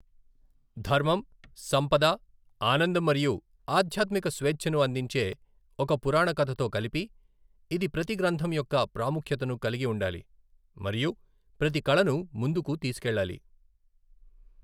ధర్మం, సంపద, ఆనందం మరియు ఆధ్యాత్మిక స్వేచ్ఛను అందించే ఒక పురాణ కథతో కలిపి, ఇది ప్రతి గ్రంథం యొక్క ప్రాముఖ్యతను కలిగి ఉండాలి మరియు ప్రతి కళను ముందుకు తీసుకెళ్లాలి.